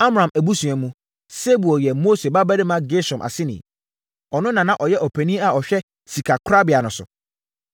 Amram abusua mu, Sebuel yɛ Mose babarima Gersom aseni. Ɔno na na ɔyɛ ɔpanin a ɔhwɛ sikakorabea no so.